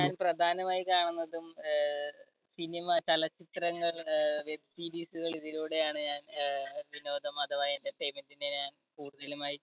ഞാൻ പ്രധാനമായി കാണുന്നതും അഹ് cinema ചലച്ചിത്രങ്ങൾ അഹ് web series കൾ ഇതിലൂടെയാണ് ഞാൻ അഹ് വിനോദം അഥവാ എൻടെ ഞാൻ കൂടുതലുമായി